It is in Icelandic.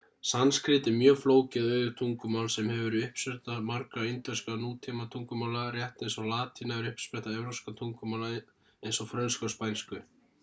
sanskrít er mjög flókið og auðugt tungumál sem hefur verið uppspretta margra indverskra nútímatungumála rétt eins og latína er uppspretta evrópskra tungumála eins og frönsku og spænsku